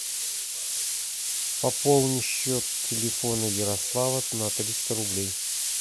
пополни счет телефона ярослава на триста рублей